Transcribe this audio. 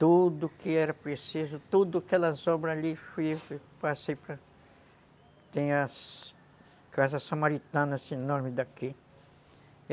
Tudo que era preciso, todas aquelas obras ali, eu passei para... Tem as Casas Samaritanas enormes daqui.